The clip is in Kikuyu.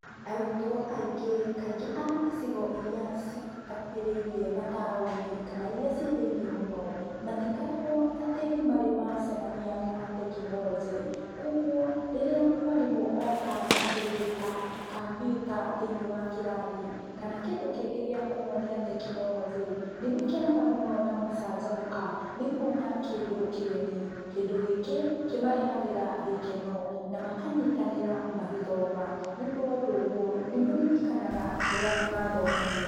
Arutwo aingĩ kaingĩ a icigo iria citakuhĩrĩirie mataũni, kana iria cirĩ thĩiniĩ mũno, matikoragwo atĩ nĩmarĩ macemania na tekinoronjĩ, koguo rĩrĩa mwarimũ oka na kĩndũ ta kampiuta thĩiniĩ wa kĩrathi, kana kĩndũ kĩngĩ gĩa kũmonia tekinoronjĩ, nĩmakenaga mũno na magacanjamũka nĩkuona kĩndũ kĩgeni, kĩndũ gĩkĩ kĩmarehagĩra gĩkeno na makanyitanĩra magĩthoma nĩ ũndũ wa ũndũ ũguo nĩmaririkanaga kĩrĩa mathomithio.